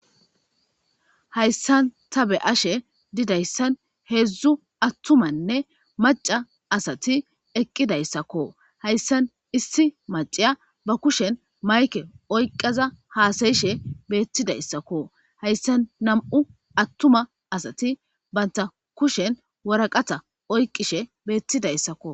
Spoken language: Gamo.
Hayssan ta be ashe didayssan heedzdzu attumanne maca asati eqqidayssakko hayssan issi maciya ba kushen mayke oyqaza haasayishe beettidayssakko hayssan nam'u attuma asati banta kushen waraqata oyqishe beettidayssakko.